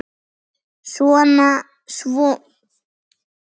Svo er enn eitt.